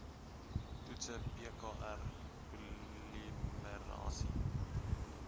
toetse pkr polimerase